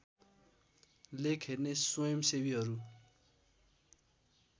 लेख हेर्ने स्वयम्‌सेवीहरू